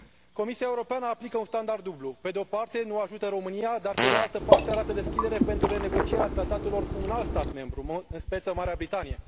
Comisia Europeană aplică un standard dublu pe de o parte nu ajută România, dar pe de altă parte arată deschidere pentru renegocierea tratatelor cu un alt stat membru în speță Marea Britanie.